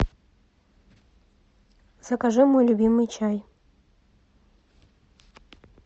закажи мой любимый чай